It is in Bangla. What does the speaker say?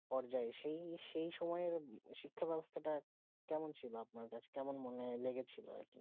কর যাই সেই সেই সময়ে শিক্ষা বেবস্তাটা কেমন ছিল আপনার কাছে কেমন মনে লেগেছিলো